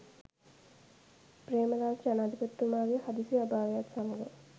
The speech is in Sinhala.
පේ්‍රමදාස ජනාධිපතිතුමාගේ හදිසි අභාවයත් සමඟ